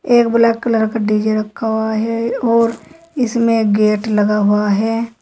एक black colour का DJ रखा हुआ है और इसमें गेट लगा हुआ है।